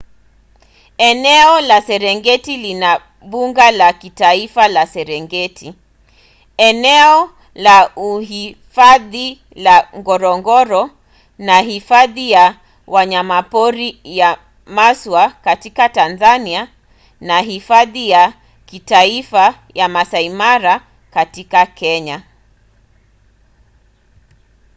eneo la serengeti lina mbuga la kitaifa la serengeti eneo la uhifadhi la ngorongoro na hifadhi ya wanyamapori ya maswa katika tanzania na hifadhi ya kitaifa ya maasai mara katika kenya